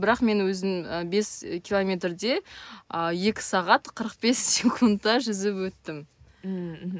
бірақ мен өзім і бес километрде а екі сағат қырық бес секундта жүзіп өттім ммм мхм